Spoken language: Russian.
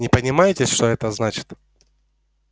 не понимаете что это значит